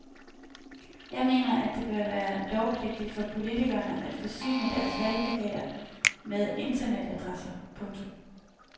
Jeg mener at det bør være lovpligtigt for politikerne at forsyne deres valgplakater med internetadresser. punktum